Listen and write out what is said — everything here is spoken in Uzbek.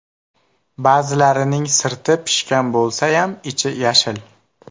Ba’zilarining sirti pishgan bo‘lsayam, ichi yashil.